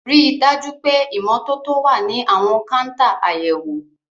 Rí i dájú pé ìmọ́tótó wà ní àwọn káńtà àyẹ̀wò.